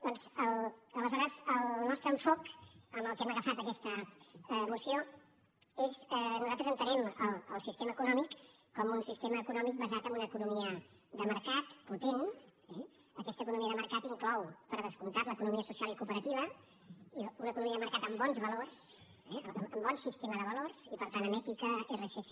doncs aleshores el nostre enfocament amb què hem agafat aquesta moció és nosaltres entenem el sistema econòmic com un sistema econòmic basat en una economia de mercat potent eh aquesta economia de mercat inclou per descomptat l’economia social i cooperativa una economia de mercat amb bons valors amb bon sistema de valors i per tant amb ètica rsc